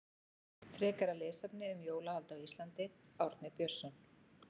Frekara lesefni um jólahald á Íslandi Árni Björnsson.